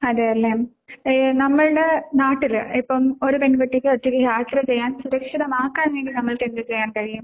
അതേല്ലേ? ഏഹ് നമ്മൾടെ നാട്ടില് ഇപ്പം ഒരു പെൺകുട്ടിക്ക് ഒറ്റയ്ക്ക് യാത്ര ചെയ്യാൻ സുരക്ഷിതമാക്കാൻ വേണ്ടി നമ്മൾക്ക് എന്ത് ചെയ്യാൻ കഴിയും?